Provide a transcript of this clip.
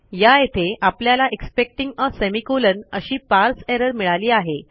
या येथे आपल्याला एक्सपेक्टिंग आ सेमिकोलॉन अशी पारसे एरर मिळाली आहे